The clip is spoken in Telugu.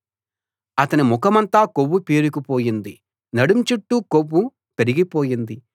అతని ముఖమంతా కొవ్వు పేరుకుపోయింది నడుం చుట్టూ కొవ్వు పెరిగిపోయింది